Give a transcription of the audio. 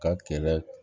Ka kɛlɛ